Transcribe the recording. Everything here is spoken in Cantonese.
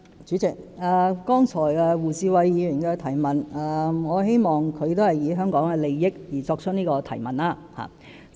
主席，我希望胡志偉議員剛才的質詢是從香港的利益出發。